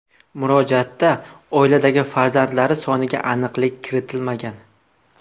Murojaatda oiladagi farzandlari soniga aniqlik kiritilmagan.